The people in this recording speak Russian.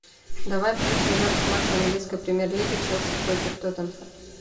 давай включим запись матча английской премьер лиги челси против тоттенхэм